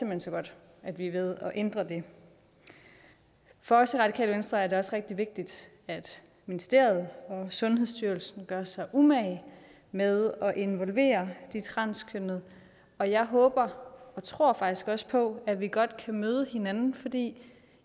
hen så godt at vi er ved at ændre det for os i radikale venstre er det også rigtig vigtigt at ministeriet og sundhedsstyrelsen gør sig umage med at involvere de transkønnede og jeg håber og tror faktisk også på at vi godt kan møde hinanden fordi